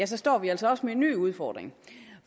så står vi altså også med en ny udfordring